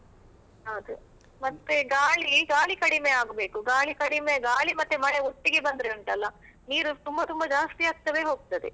ಹೌದು ಮತ್ತೆ ಗಾಳಿ ಗಾಳಿ ಕಡಿಮೆ ಆಗ್ಬೇಕು, ಗಾಳಿ ಕಡಿಮೆ ಗಾಳಿ ಮತ್ತೆ ಮಳೆ ಒಟ್ಟಿಗೆ ಬಂದ್ರೆ ಉಂಟಲ್ಲ ನೀರು ತುಂಬ ತುಂಬ ಜಾಸ್ತಿ ಆಗ್ತಾವೆ ಹೋಗ್ತದೆ.